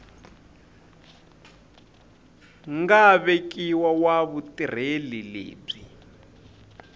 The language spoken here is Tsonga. nga vekiwa wa vutirheli lebyi